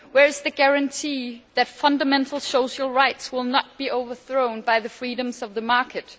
Where is the guarantee that fundamental social rights will not be overthrown by the freedoms of the market?